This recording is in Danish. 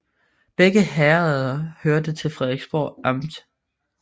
Begge herreder hørte til Frederiksborg Amt